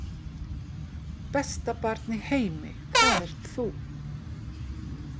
Besta barn í heimi, það ert þú.